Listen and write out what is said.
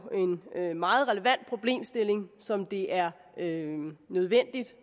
en meget relevant problemstilling som det er nødvendigt